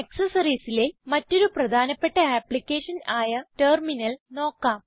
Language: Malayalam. Accessoriesലെ മറ്റൊരു പ്രധാനപ്പെട്ട ആപ്പ്ളിക്കേഷൻ ആയ ടെർമിനൽ നോക്കാം